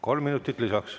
Kolm minutit lisaks.